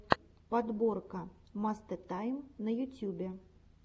подборка мастэ тайм на ютюбе